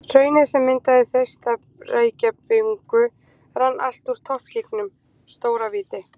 Hraunið sem myndaði Þeistareykjabungu rann allt úr toppgígnum, Stóravíti.